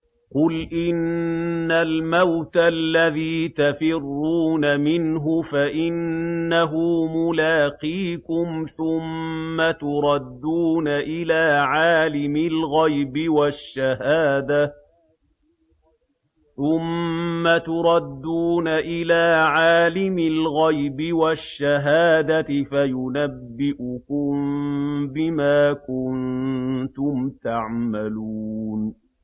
قُلْ إِنَّ الْمَوْتَ الَّذِي تَفِرُّونَ مِنْهُ فَإِنَّهُ مُلَاقِيكُمْ ۖ ثُمَّ تُرَدُّونَ إِلَىٰ عَالِمِ الْغَيْبِ وَالشَّهَادَةِ فَيُنَبِّئُكُم بِمَا كُنتُمْ تَعْمَلُونَ